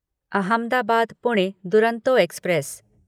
Ahmedabad Pune Duronto express